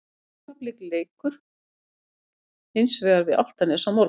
Augnablik leikur hins vegar við Álftanes á morgun.